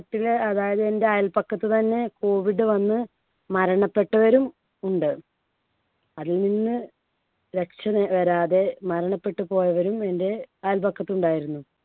നാട്ടിലെ അതായത് എൻടെ അയൽപക്കത്ത് തന്നെ COVID വന്ന് മരണപ്പെട്ടവരും ഉണ്ട്. അതിൽ നിന്ന് രക്ഷ നെ വരാതെ മരണപ്പെട്ടു പോയവരും എൻടെ അയൽപക്കത്ത് ഉണ്ടായിരുന്നു.